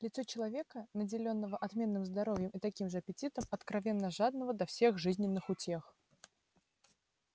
лицо человека наделённого отменным здоровьем и таким же аппетитом откровенно жадного до всех жизненных утех